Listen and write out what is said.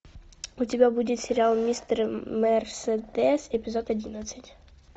у тебя будет сериал мистер мерседес эпизод одиннадцать